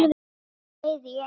Bæði í einu.